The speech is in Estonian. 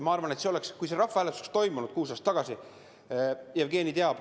Ma arvan, kui see rahvahääletus oleks toimunud kuus aastat tagasi – Jevgeni teab!